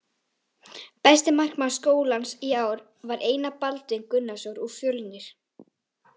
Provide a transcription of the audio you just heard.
Besti markmaður skólans í ár var Einar Baldvin Gunnarsson úr Fjölnir.